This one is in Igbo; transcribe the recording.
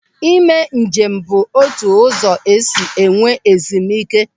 Ị mee njem bụ otu ụzọ esi enwe ezumike.